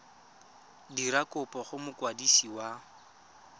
dira kopo go mokwadisi wa